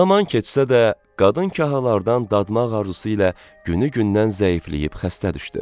Zaman keçsə də, qadın kahlardan dadmaq arzusu ilə günü-gündən zəifləyib xəstə düşdü.